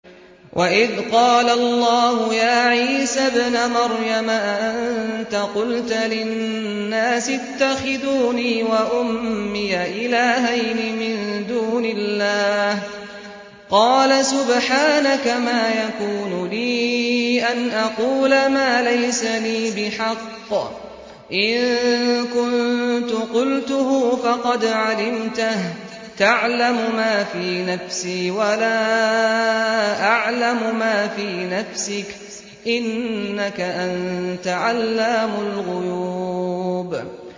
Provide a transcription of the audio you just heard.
وَإِذْ قَالَ اللَّهُ يَا عِيسَى ابْنَ مَرْيَمَ أَأَنتَ قُلْتَ لِلنَّاسِ اتَّخِذُونِي وَأُمِّيَ إِلَٰهَيْنِ مِن دُونِ اللَّهِ ۖ قَالَ سُبْحَانَكَ مَا يَكُونُ لِي أَنْ أَقُولَ مَا لَيْسَ لِي بِحَقٍّ ۚ إِن كُنتُ قُلْتُهُ فَقَدْ عَلِمْتَهُ ۚ تَعْلَمُ مَا فِي نَفْسِي وَلَا أَعْلَمُ مَا فِي نَفْسِكَ ۚ إِنَّكَ أَنتَ عَلَّامُ الْغُيُوبِ